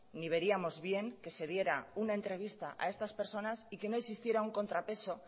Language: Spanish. ni veríamos bien que se diera una entrevista a estas personas y que no existiera un contrapeso